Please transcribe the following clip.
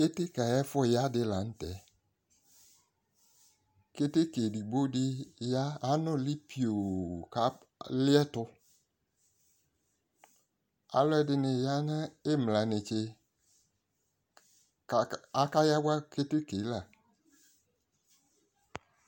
keteke ayi ɛfu ya di lantɛ keteke edigbo di ya anuli pio k'ali ɛtò alò ɛdini ya n'imla netse k'aka yawa keteke yɛ la